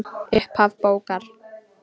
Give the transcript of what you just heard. Upphaf bókar